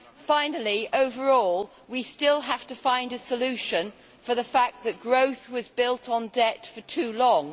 Finally, overall, we still have to find a solution for the fact that growth was built on debt for too long.